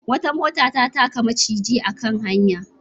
Wata mota ta taka maciji a kan hanya.